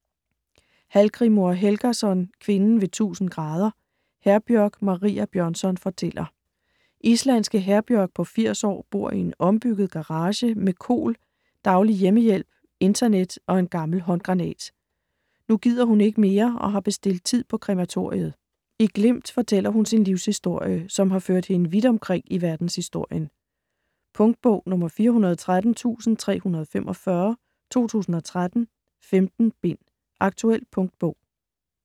Hallgrímur Helgason: Kvinden ved 1000°: Herbjørg Maria Bjørnsson fortæller Islandske Herbjörg på 80 år bor i en ombygget garage med KOL, daglig hjemmehjælp, internet og en gammel håndgranat. Nu gider hun ikke mere og har bestilt tid på krematoriet. I glimt fortæller hun sin livshistorie, som har ført hende vidt omkring i verdenshistorien. Punktbog 413345 2013. 15 bind. Aktuel punktbog